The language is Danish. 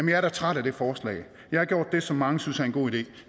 jeg er da træt af det forslag jeg har gjort det som mange synes er en god idé